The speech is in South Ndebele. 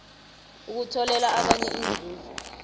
ukutholela abanye inzuzo